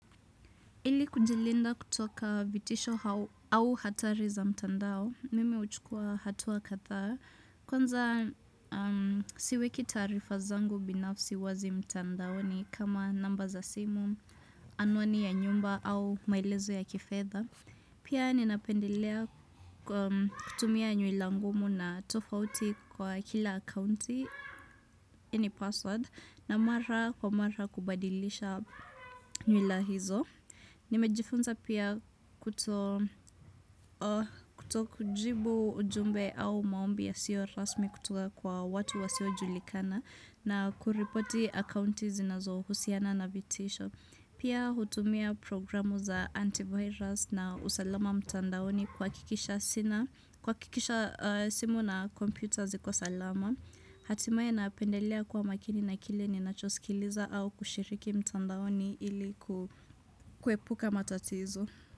Ili kujilinda kutoka vitisho au hatari za mtandao, mimeuchukua hatuwa katha, kwanza siweki tarifa zangu binafsi wazi mtandaoni kama namba za simu, anwani ya nyumba au mailezo ya kefetha. Pia ninapendelea kutumia nyuila ngumu na tofauti kwa kila akunti, ini password, na mara kwa mara kubadilisha nyuila hizo. Nimejifunza pia kuto kujibu ujumbe au maombi yasiyo rasmi kutoka kwa watu wasiyo julikana na kuripoti akaunti zinazohusiana na vitisho. Pia hutumia programu za antivirus na usalama mtandaoni kwakikisha simu na computers ziko salama. Hatimaye napendelia kuwa makini na kile ni nachosikiliza au kushiriki mtandaoni ili kuwepuka matatizo.